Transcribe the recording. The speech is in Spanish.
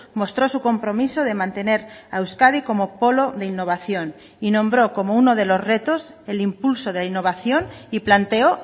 mostró su compromiso de mantener a euskadi como polo de innovación y nombró como uno de los retos el impulso de innovación y planteó